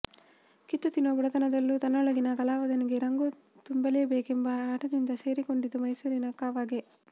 ಕಿತ್ತು ತಿನ್ನುವ ಬಡತನದಲ್ಲೂ ತನ್ನೊಳಗಿನ ಕಲಾವಿದನಿಗೆ ರಂಗು ತುಂಬಲೇಬೇಕೆಂಬ ಹಠದಿಂದ ಸೇರಿಕೊಂಡಿದ್ದು ಮೈಸೂರಿನ ಕಾವಾಗೆ